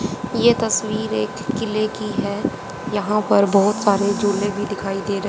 ये तस्वीर एक किले की है यहां पर बहोत सारे झूले भी दिखाई दे र--